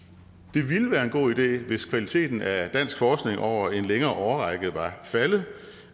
det ville være en god idé hvis kvaliteten af dansk forskning over en længere årrække var faldet